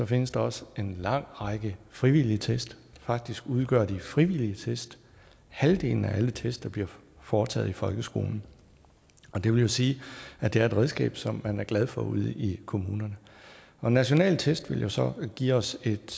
findes der også en lang række frivillige test faktisk udgør de frivillige test halvdelen af alle test der bliver foretaget i folkeskolen det vil jo sige at det er et redskab som man er glad for ude i kommunerne nationale test vil jo så give os et